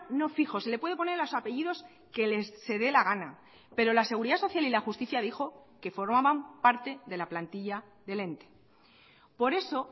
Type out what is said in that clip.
no fijos se le puede poner los apellidos que se dé la gana pero la seguridad social y la justicia dijo que formaban parte de la plantilla del ente por eso